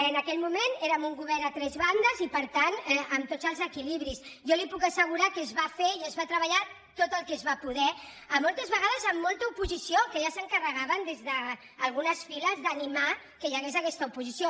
en aquell moment érem un govern a tres ban·des i per tant amb tots els equilibris jo li puc assegu·rar que es va fer i es va treballar tot el que es va poder moltes vegades amb molta oposició que ja s’encar·regaven des d’algunes files d’animar que hi hagués aquesta oposició